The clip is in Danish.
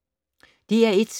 DR1